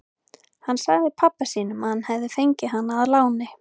Hann sagði pabba sínum að hann hefði fengið hana að láni.